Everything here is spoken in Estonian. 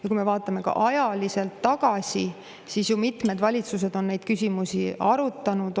Ja kui me vaatame ka ajaliselt tagasi, siis ju mitmed valitsused on neid küsimusi arutanud.